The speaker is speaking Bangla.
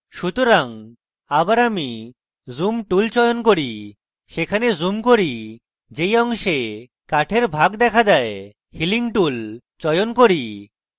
সুতরাং আবার আমি zoom tool চয়ন করি এবং সেখানে zoom করি যেই অংশে কাঠের ভাগ দেখা দেয় এবং healing tool চয়ন করি